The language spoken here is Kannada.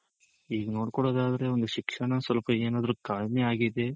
ಈಗ್ ನೋಡ್ಕೊಳ್ಳೋದ್ ಆದ್ರೆ ಒಂದು ಶಿಕ್ಷಣ ಸ್ವಲ್ಪ ಏನಾದ್ರೂ ಆಗಿದೆ